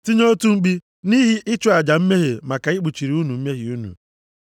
Tinye otu mkpi nʼihi ịchụ aja mmehie maka ikpuchiri unu mmehie unu.